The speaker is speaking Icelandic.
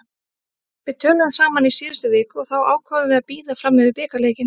Við töluðum saman í síðustu viku og þá ákváðum við að bíða fram yfir bikarleikinn.